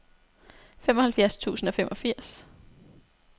femoghalvfjerds tusind og femogfirs